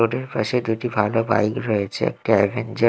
পাশে দুটি ভালো বাইক রয়েছে একটা আ্যভেঞ্জার ।